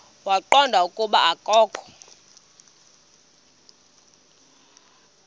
waqonda ukuba akokho